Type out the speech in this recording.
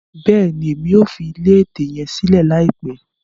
Bẹẹni, Èmí o fi ilé ẹtẹ yẹn silẹ laipẹ